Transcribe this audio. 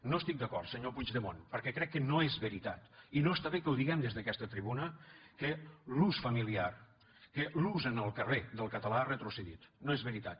no estic d’acord senyor puigdemont perquè crec que no és veritat i no està bé que ho diguem des d’aquesta tribuna que l’ús familiar que l’ús en el carrer del català ha retrocedit no és veritat